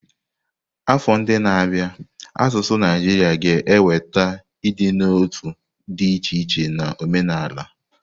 Afọ ndị na-abịa n'asụsụ Naijiria ga-eweta ịdị n'otu dị iche iche na omenala.